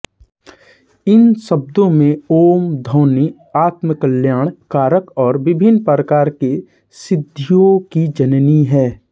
इन शब्दों में ॐ ध्वनि आत्मकल्याण कारक और विभिन्न प्रकार की सिद्धियों की जननी है